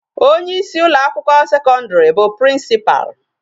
Onye isi ụlọ akwụkwọ sekọndịrị bụ principal.